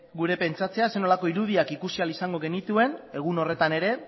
gure pentsatzea zer nolako irudiak ikusi ahal izango genituen egun horretan ere